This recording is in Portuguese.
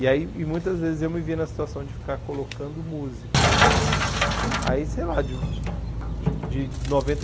E aí e muitas vezes eu me via na situação de ficar colocando música né. Aí sei lá de de de noventa